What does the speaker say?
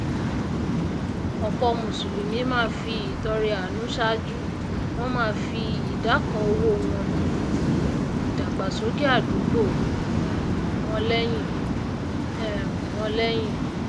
òpò mùsùlùmí máá fi ìtọrẹ àánú sàájú wón máá fi ìdá kan owó wọn ti ìdàgbàsókè àdúgbò um wọn léyìn um wọn léyìn